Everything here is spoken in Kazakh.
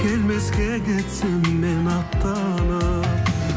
келмеске кетсем мен аттанып